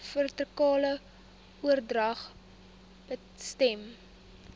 vertikale oordrag besmet